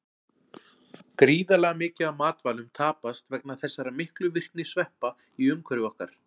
Gríðarlega mikið af matvælum tapast vegna þessara miklu virkni sveppa í umhverfi okkar.